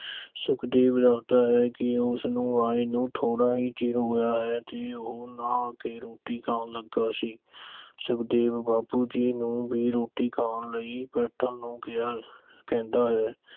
ਸੁਖਦੇਵ ਦੱਸਦਾ ਹੈ ਕਿ ਉਸਨੂੰ ਆਏ ਨੂੰ ਥੋੜਾ ਹੀ ਚਿਰ ਹੋਇਆ ਹੈ ਤੇ ਉਹ ਨਹਾ ਕੇ ਰੋਟੀ ਖਾਣ ਲੱਗਾ ਸੀ। ਸੁਖਦੇਵ ਬਾਪੂ ਜੀ ਨੂੰ ਵੀ ਰੋਟੀ ਖਾਣ ਲਈ ਬੈਠਣ ਨੂੰ ਕਹਿੰਦਾ ਹੈ।